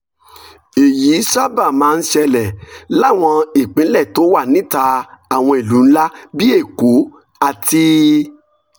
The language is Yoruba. èyí sábà máa ń ṣẹlẹ̀ láwọn ìpínlẹ̀ tó wà níta àwọn ìlú ńlá bíi èkó àti